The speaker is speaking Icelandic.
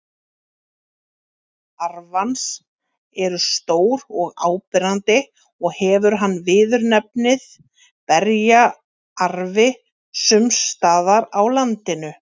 Aldin arfans eru stór og áberandi og hefur hann viðurnefnið berjaarfi sums staðar á landinu.